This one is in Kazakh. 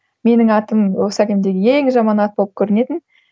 менің атым осы әлемдегі ең жаман ат болып көрінетін